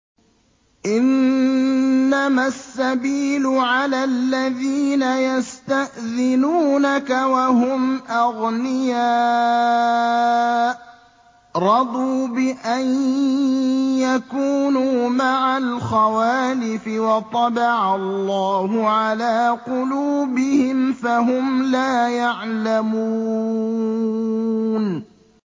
۞ إِنَّمَا السَّبِيلُ عَلَى الَّذِينَ يَسْتَأْذِنُونَكَ وَهُمْ أَغْنِيَاءُ ۚ رَضُوا بِأَن يَكُونُوا مَعَ الْخَوَالِفِ وَطَبَعَ اللَّهُ عَلَىٰ قُلُوبِهِمْ فَهُمْ لَا يَعْلَمُونَ